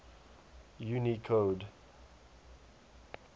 unicode